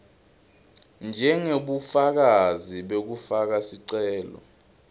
njengebufakazi bekufaka sicelo